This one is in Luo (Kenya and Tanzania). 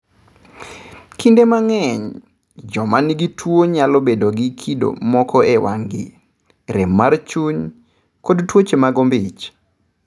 Kinde mang'eny, joma nigi tuwono nyalo bedo gi kido moko e wang'gi, rem mar chuny, kod tuoche mag ombich.